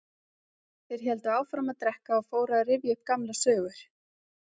Þeir héldu áfram að drekka og fóru að rifja upp gamlar sögur.